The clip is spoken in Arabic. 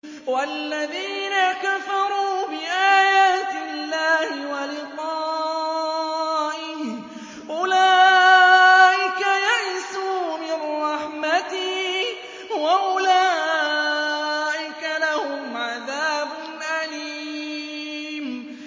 وَالَّذِينَ كَفَرُوا بِآيَاتِ اللَّهِ وَلِقَائِهِ أُولَٰئِكَ يَئِسُوا مِن رَّحْمَتِي وَأُولَٰئِكَ لَهُمْ عَذَابٌ أَلِيمٌ